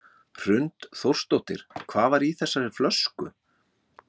Hrund Þórsdóttir: Hvað var í þessari flösku?